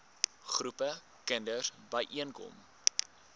groepe kinders byeenkom